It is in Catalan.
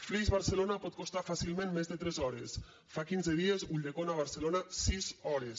flix barcelona pot costar fàcilment més de tres hores fa quinze dies ulldecona barcelona sis hores